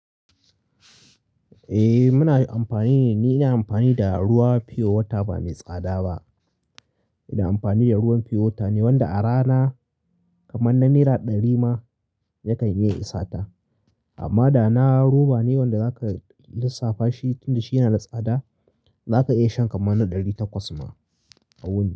Eh muna amfani ne, ni ina amfani da ruwa pure water ba mai tsada ba. Ina amfani da ruwan pure water ne wanda a rana kaman na naira ɗari ma yakan iya isata. Amma da na roba ne wanda zaka lissafa shi tunda shi yana da tsada, zaka iya shan kamar na ɗari takwas ma a wuni.